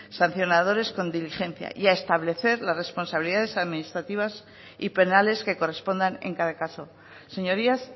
sancionadores con diligencia y a establecer las responsabilidades administrativas y penales que correspondan en cada caso señorías